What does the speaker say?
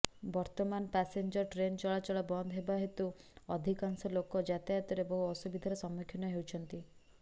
ବର୍ତ୍ତମାନ passenger train ଚଳାଚଳ ବନ୍ଦ ଥିବା ହେତୁ ଅଧିକାଂଶ ଲୋକ ଯାତାୟତରେ ବହୁ ଅସୁବିଧାର ସମ୍ମୁଖୀନ ହେଉଛନ୍ତି